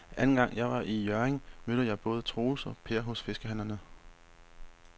Anden gang jeg var i Hjørring, mødte jeg både Troels og Per hos fiskehandlerne.